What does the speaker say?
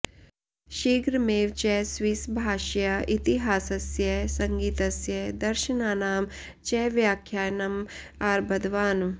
शीघ्रमेव च स्विस् भाषया इतिहासस्य सङ्गीतस्य दर्शनानां च व्याख्यानम् आरब्धवान्